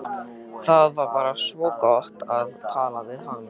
Það var bara svo gott að tala við hana.